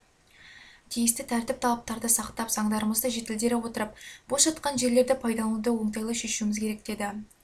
тиісті тәртіп талаптарды сақтап заңдарымызды жетілдіре отырып бос жатқан жерлерді пайдалануды оңтайлы шешуіміз керек деді